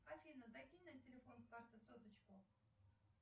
афина закинь на телефон с карты соточку